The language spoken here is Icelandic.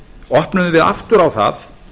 opnuðum við aftur á það